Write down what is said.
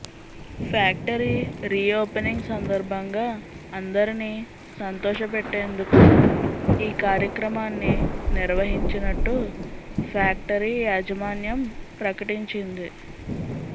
factory reopening సందర్భంగా అందరిని సంతోష పెట్టేందుకు ఈ కార్యక్రమాన్ని నిర్వహించినట్టు ఫ్యాక్టరీ యజమాన్యం ప్రకటించింది